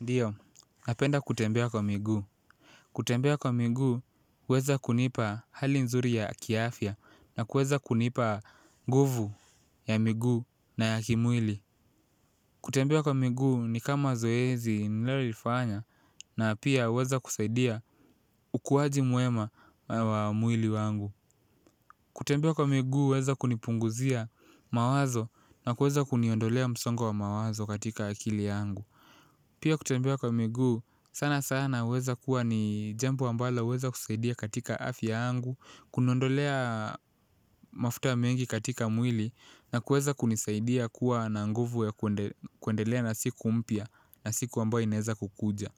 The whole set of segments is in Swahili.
Ndiyo, napenda kutembea kwa miguu. Kutembea kwa miguu, huweza kunipa hali nzuri ya kiafya na kuweza kunipa nguvu ya miguu na ya kimwili. Kutembea kwa miguu, ni kama zoezi ninalolifanya na pia huweza kusaidia ukuwaji mwema wa mwili wangu. Kutembea kwa miguu, huweza kunipunguzia mawazo na kuweza kuniondolea msongo wa mawazo katika akili yangu. Pia kutembea kwa miguu sana sana huweza kuwa ni jambo ambalo huweza kusaidia katika afya yangu. Kuniondolea mafuta mengi katika mwili na kuweza kunisaidia kuwa na nguvu ya kuendelea na siku mpya na siku ambayo inaeza kukuja.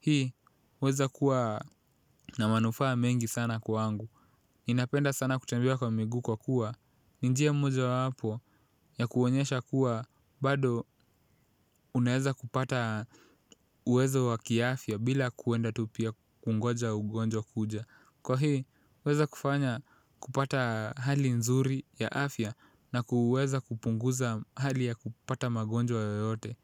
Hii huweza kuwa na manufaa mengi sana kwangu. Ninapenda sana kutembea kwa miguu kwa kuwa ni njia moja wapo ya kuonyesha kuwa bado unaeza kupata uwezo wa kiafya bila kuenda tu pia kungoja ugonjwa kuja. Kwa hii huweza kufanya kupata hali nzuri ya afya na kuweza kupunguza hali ya kupata magonjwa yoyote.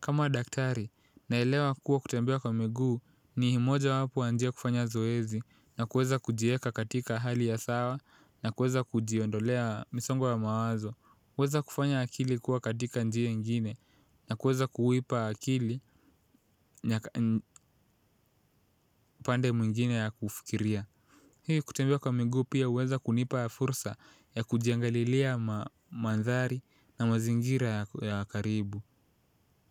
Kama daktari naelewa kuwa kutembea kwa miguu ni moja wapo ya njia kufanya zoezi na kuweza kujieka katika hali ya sawa na kuweza kujiondolea misongo ya mawazo huweza kufanya akili kuwa katika njia ingine na kuweza kuipa akili pande mwingine ya kufikiria. Hii kutembea kwa mingu pia huweza kunipa fursa ya kujiangalilia mandhari na mazingira ya karibu.